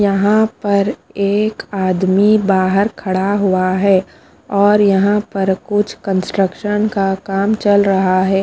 यहाँ पर एक आदमी बाहर खड़ा हुआ है और यहाँ पर कुछ कन्स्ट्रकशन का काम चल रहा है।